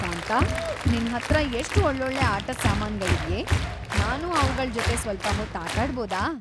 ಕಾಂತಾ, ನಿನ್ಹತ್ರ ಎಷ್ಟ್ ಒ‌ಳ್ಳೊಳ್ಳೆ ಆಟದ್ ಸಾಮಾನ್ಗಳಿವ್ಯೇ. ನಾನು ಅವ್ಗಳ್‌ ಜೊತೆ ಸ್ವಲ್ಪ ಹೊತ್ತು ಆಟಾಡ್ಬೋದ?